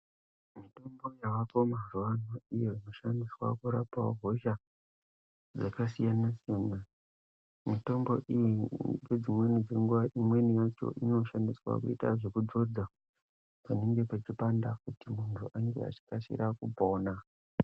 Mitombo yavapo mazuvano iyo inoshandiswa kurapawo hosha dzakasiyana-siyana. Mitombo iyi ngedzimweni dzenguva imweni yacho inoshandiswa kuita zvekudzodza panenge pachipanda kuti muntu ange achikasira kupona.